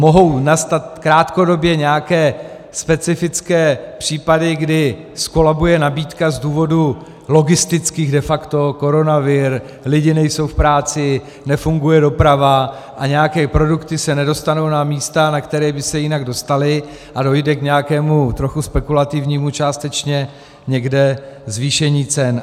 Mohou nastat krátkodobě nějaké specifické případy, kdy zkolabuje nabídka z důvodů logistických, de facto koronavir, lidé nejsou v práci, nefunguje doprava a nějaké produkty se nedostanou na místa, na která by se jinak dostaly, a dojde k nějakému trochu spekulativnímu částečně někde zvýšení cen.